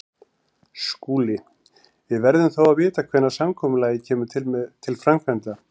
SKÚLI: Við verðum þó að vita hvenær samkomulagið kemur til framkvæmda.